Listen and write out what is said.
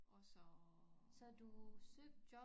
Og så